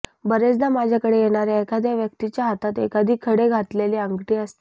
बरेचदा माझ्याकडे येणाऱया एखाद्या व्यक्तीच्या हातात एखादी खडे घातलेली अंगठी असते